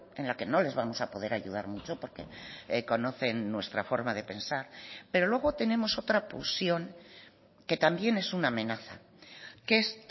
en la que no les vamos a poder ayudar mucho porque conocen nuestra forma de pensar pero luego tenemos otra pulsión que también es una amenaza que es